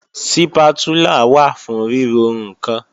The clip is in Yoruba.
Sípátúlà wà fún ríro ǹkan